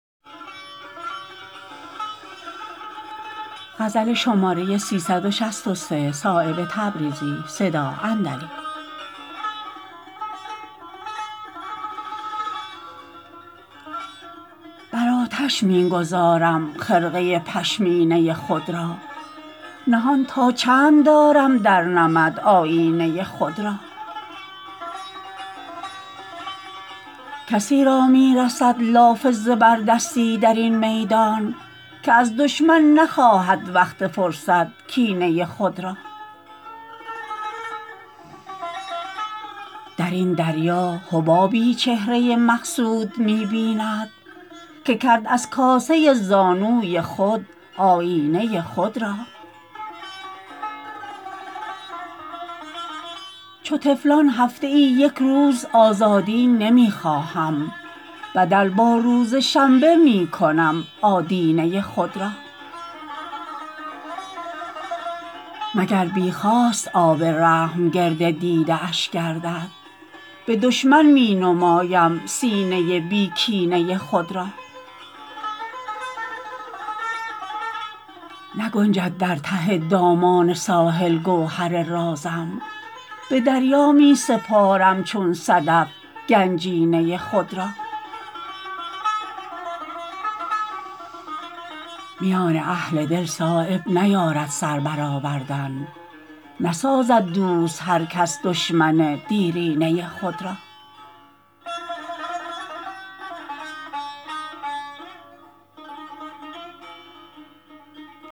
برآتش می گذارم خرقه پشمینه خود را نهان تا چند دارم در نمد آیینه خود را کسی را می رسد لاف زبردستی درین میدان که از دشمن نخواهد وقت فرصت کینه خود را درین دریا حبابی چهره مقصود می بیند که کرد از کاسه زانوی خود آیینه خود را چو طفلان هفته ای یک روز آزادی نمی خواهم بدل با روز شنبه می کنم آدینه خود را مگر بی خواست آب رحم گرد دیده اش گردد به دشمن می نمایم سینه بی کینه خود را نگنجد در ته دامان ساحل گوهر رازم به دریا می سپارم چون صدف گنجینه خود را میان اهل دل صایب نیارد سر بر آوردن نسازد دوست هر کس دشمن دیرینه خود را